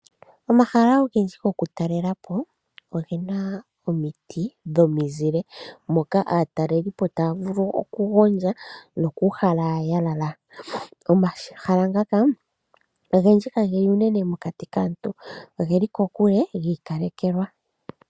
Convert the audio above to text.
Omahala ogendji go ku talela po ogena omiti dhomizile, moka aatalelipo taya vulu oku gondja no ku uhala ya lala. Omahala ngaka ogendji ka geli unene mokati kaantu oge li kokule gi ikalekelwa.